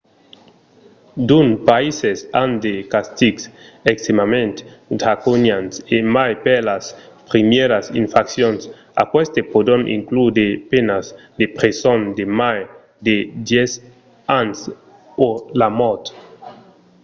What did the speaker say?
d'unes païses an de castigs extrèmament draconians e mai per las primièras infraccions; aquestes pòdon inclure de penas de preson de mai de 10 ans o la mòrt